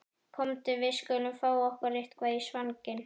Komdu, við skulum fá okkur eitthvað í svanginn